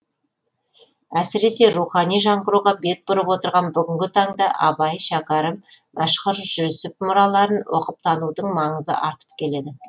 әсіресе рухани жаңғыруға бет бұрып отырған бүгінгі таңда абай шәкәрім мәшһүр жүсіп мұраларын оқып танудың маңызы артып келеді